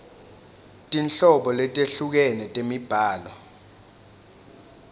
tinhlobo letehlukene temibhalo